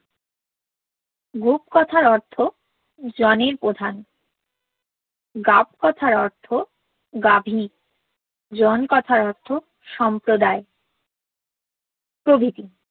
গুব কথার অর্থ জনের প্রধান গাব কথার অর্থ গাভীনি জন কথার অর্থ সম্প্রোদায় প্রভৃতি